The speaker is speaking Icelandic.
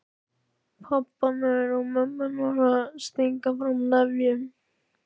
Pabbarnir og mömmurnar að stinga saman nefjum.